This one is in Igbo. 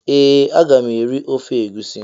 Ee a ga m eri ofe egusi.